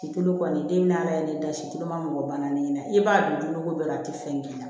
Situlu kɔni den naani sitan ma mɔgɔ banna ni na i b'a don ko dɔ la a tɛ fɛn k'i la